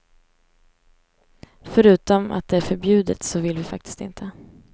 Förutom att det är förbjudet så vill vi faktiskt inte.